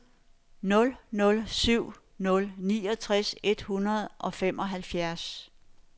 nul nul syv nul niogtres et hundrede og femoghalvfjerds